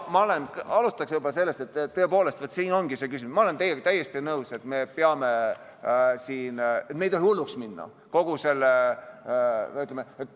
Jah, alustan sellest, et tõepoolest, siin ongi see küsimus, ma olen teiega täiesti nõus, et me ei tohi hulluks minna kogu selle asjaga.